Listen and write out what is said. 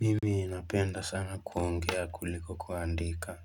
Mimi napenda sana kuongea kuliko kuandika.